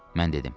Mən dedim.